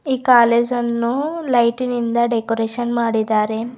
ಈ ಕಾಲೇಜನ್ನು ಲೈಟಿನಿಂದ ಡೆಕೋರೇಷನ್ ಮಾಡಿದಾರೆ.